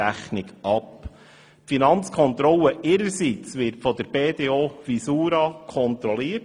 Die Finanzkontrolle ihrerseits wird von der BDO Visura kontrolliert;